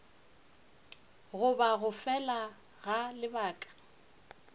goba go fela ga lebaka